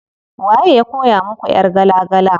Waye ya koya muku ƴar gala gala?